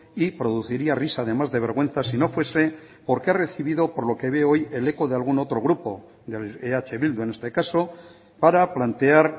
y produciría risa además de vergüenza si no fuese porque ha recibido por lo que veo hoy el eco de algún otro grupo de eh bildu en este caso para plantear